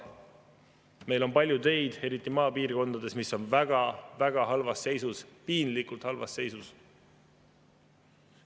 Meil on palju teid, eriti maapiirkondades, mis on väga-väga halvas seisus, piinlikult halvas seisus.